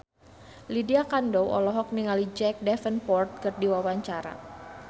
Lydia Kandou olohok ningali Jack Davenport keur diwawancara